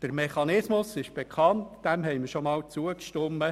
Der Mechanismus ist aber bekannt, diesem haben wir schon einmal zugestimmt.